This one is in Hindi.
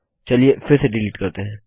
चलिए फिर से डिलीट करते हैं